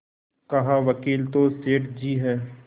कहावकील तो सेठ जी हैं